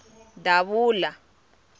davula